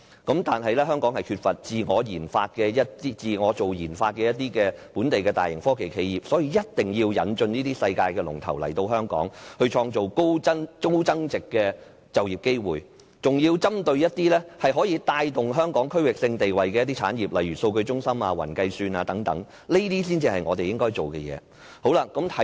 但是，香港缺乏自我研發的本地大型科技企業，所以一定要引進這些世界龍頭來香港，創造高增值的就業機會，還要針對一些可以帶動香港區域性地位的產業，例如數據中心/雲計算等，這些才是我們應該做的工作。